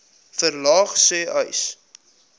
verlaag sê uys